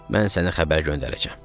Mən sənə xəbər göndərəcəm."